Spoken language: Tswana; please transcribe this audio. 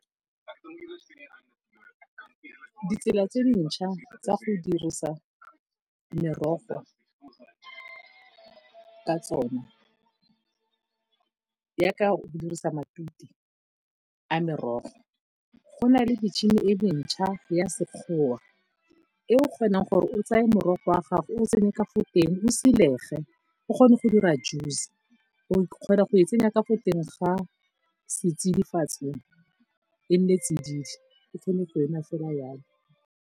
Ditsela tse dintšha tsa go dirisa merogo ka tsona jaaka go dirisa matute a merogo, go na le metšhini e mentšha ya sekgowa e o kgonang gore o tseye morogo wa gago o o tsenye ka fo teng o silege, o kgone go dira juice. O kgona go e tsenya ka fo teng ga setsidifatsi, e nne tsididi, o kgone go e nwa fela jalo.